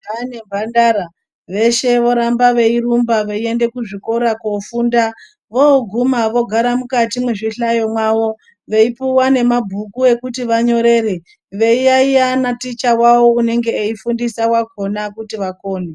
Majaha nemhandara, veshe voramba veyirumba veyiyende kuzvikora kofunda. Voguma vogara mukati muzvihlayo mwavo, veyipuwa nemabhuku ekuti vanyorere, veyiyayiya na ticha wavo unenge eyifundisa wakhona kuti vakone.